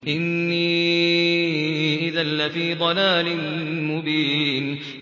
إِنِّي إِذًا لَّفِي ضَلَالٍ مُّبِينٍ